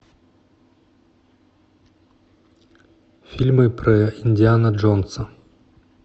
фильмы про индиана джонса